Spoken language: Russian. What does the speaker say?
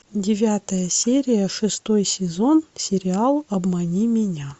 девятая серия шестой сезон сериал обмани меня